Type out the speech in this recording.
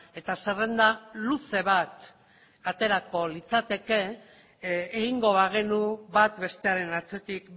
eta zerrenda luze bat aterako litzateke egingo bagenu bat bestearen atzetik